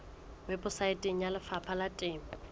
weposaeteng ya lefapha la temo